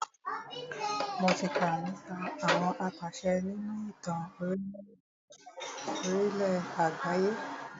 Mo tí kà nípa àwọn apàṣẹ nínú ìtàn orílẹ̀ àgbáyé.